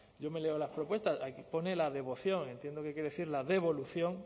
yo me leo las propuestas aquí pone la devoción entiendo que quiere decir la devolución